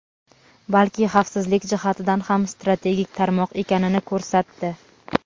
balki xavfsizlik jihatidan ham strategik tarmoq ekanini ko‘rsatdi.